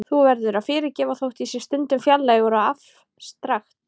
Þú verður að fyrirgefa þótt ég sé stundum fjarlægur og afstrakt.